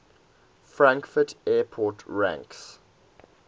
frankfurt airport ranks